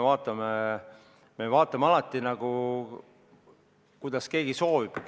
Me vaatame alati nii, kuidas keegi soovib.